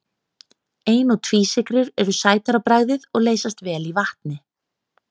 Ein- og tvísykrur eru sætar á bragðið og leysast vel í vatni.